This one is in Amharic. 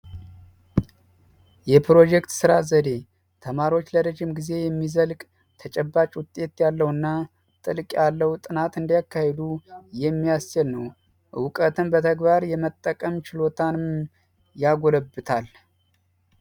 የፕሮጀክት ስራ ዘዴ ተማሪዎች ለረጅም ጊዜ የሚዘልቅ ተጨባጭ ውጤት ያለውና ጥልቅ ጥናት ያለው ምርመራ እንዲያካሄዱ የሚያስችል ነው። እውቀትን በተግባር የመጠቀም ችሎታን ያጎለብታል።